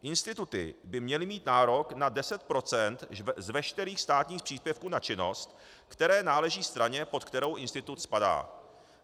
Instituty by měly mít nárok na 10 % z veškerých státních příspěvků na činnost, které náleží straně, pod kterou institut spadá.